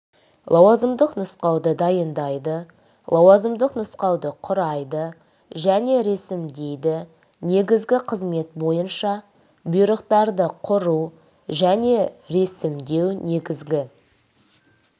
лауазымдық нұсқауды дайындайды лауазымдық нұсқауды құрайды және ресімдейді негізгі қызмет бойынша бұйрықтарды құру және ресімдеу негізгі